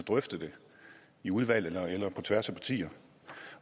drøftet det i udvalg eller på tværs af partier